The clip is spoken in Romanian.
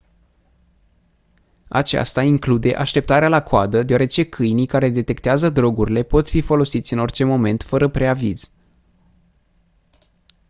aceasta include așteptarea la coadă deoarece câinii care detectează drogurile pot fi folosiți în orice moment fără preaviz